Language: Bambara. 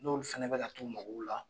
N'olu fana bɛ ka t'u magow la.